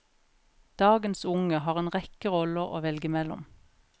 Dagens unge har en rekke roller å velge mellom.